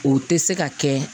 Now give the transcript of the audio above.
O tɛ se ka kɛ